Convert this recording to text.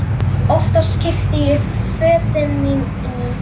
Oftast keypti ég fötin mín í